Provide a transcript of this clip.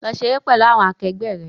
Lọ ṣeré pẹ̀lú àwọn akẹgbẹ́ rẹ!